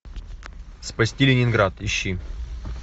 спасти ленинград ищи